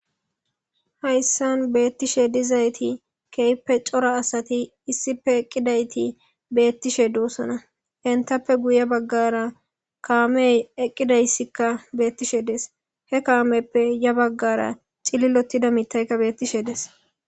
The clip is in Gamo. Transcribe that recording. hayssan beettishe dizayti keyppe cora asati issipe eqqidayti beettishe duossona entappe guye baggara kaamey eqqidayssikka beettishe dees he kaameppe ya baggara cililotida mitayka beettishe des